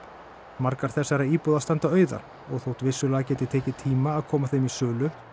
margar þessara íbúða standa auðar og þótt vissulega geti tekið tíma að koma þeim í sölu